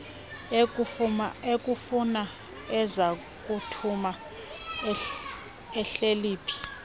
ekufuna ezakuthuma uhleliphi